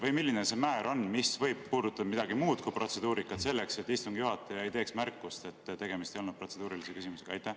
Või milline see määr on, mis võib puudutada midagi muud kui protseduurikat, selleks et istungi juhataja ei teeks märkust, et tegemist ei olnud protseduurilise küsimusega?